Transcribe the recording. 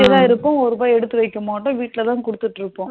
போயிட்டேத இருப்போம் ஒரு ரூபா எடுத்து வைக்க மாட்டோம். வீட்டுலத குடுத்துட்டு இருப்போம்.